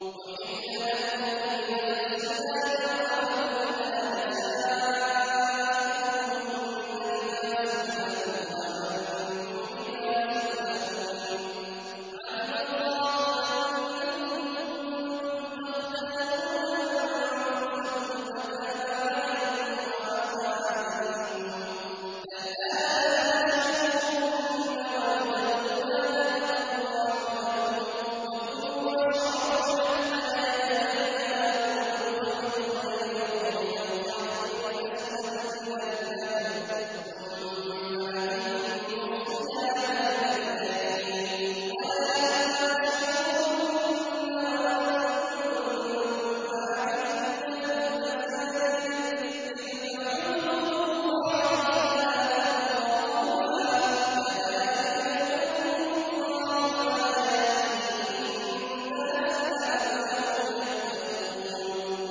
أُحِلَّ لَكُمْ لَيْلَةَ الصِّيَامِ الرَّفَثُ إِلَىٰ نِسَائِكُمْ ۚ هُنَّ لِبَاسٌ لَّكُمْ وَأَنتُمْ لِبَاسٌ لَّهُنَّ ۗ عَلِمَ اللَّهُ أَنَّكُمْ كُنتُمْ تَخْتَانُونَ أَنفُسَكُمْ فَتَابَ عَلَيْكُمْ وَعَفَا عَنكُمْ ۖ فَالْآنَ بَاشِرُوهُنَّ وَابْتَغُوا مَا كَتَبَ اللَّهُ لَكُمْ ۚ وَكُلُوا وَاشْرَبُوا حَتَّىٰ يَتَبَيَّنَ لَكُمُ الْخَيْطُ الْأَبْيَضُ مِنَ الْخَيْطِ الْأَسْوَدِ مِنَ الْفَجْرِ ۖ ثُمَّ أَتِمُّوا الصِّيَامَ إِلَى اللَّيْلِ ۚ وَلَا تُبَاشِرُوهُنَّ وَأَنتُمْ عَاكِفُونَ فِي الْمَسَاجِدِ ۗ تِلْكَ حُدُودُ اللَّهِ فَلَا تَقْرَبُوهَا ۗ كَذَٰلِكَ يُبَيِّنُ اللَّهُ آيَاتِهِ لِلنَّاسِ لَعَلَّهُمْ يَتَّقُونَ